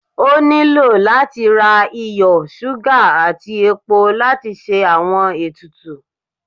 O nilo lati ra iyo, suga ati epó latí ṣe awọn etùtù